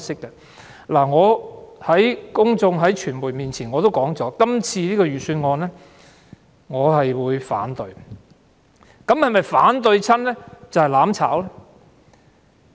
我曾向公眾和傳媒說過，就這次財政預算案，我會投反對票，但這是否便是"攬炒"呢？